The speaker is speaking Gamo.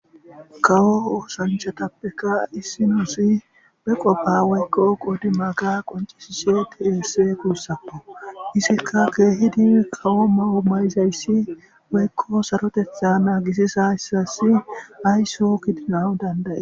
Kawo ossanchchatappeka issoy issoy be wofa woyko qoddi magga qoncisishe de'es gussako .Izekka keehiddi kawo may'o ma'izayssi woyko saarottetta nagisizayssassi haysso gidanaw dandda'es.